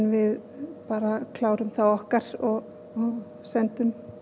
við klárum þá okkar og sendum